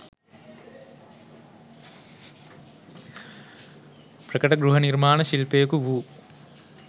ප්‍රකට ගෘහනිර්මාණ ශිල්පියෙකු වු